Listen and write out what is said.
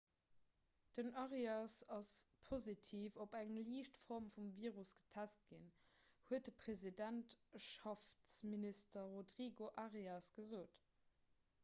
den arias ass positiv op eng liicht form vum virus getest ginn huet de presidentschaftsminister rodrigo arias gesot